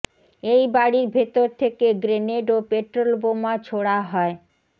এই বাড়ির ভেতর থেকে গ্রেনেড ও পেট্রল বোমা ছোড়া হয়